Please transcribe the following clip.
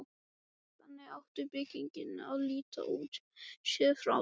Þannig átti byggingin að líta út, séð frá torginu.